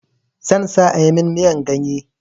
Zan sa a yi min miyan ganye.